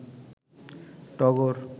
টগর